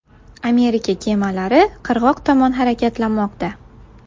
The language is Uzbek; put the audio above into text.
Amerika kemalari qirg‘oq tomon harakatlanmoqda.